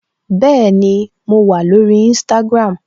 Bẹẹni, mo wà lórí Instagram